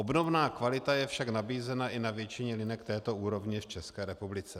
Obdobná kvalita je však nabízena i na většině linek této úrovně v České republice.